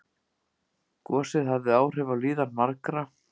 Gosið hafði áhrif á líðan margra